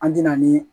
An ti na ni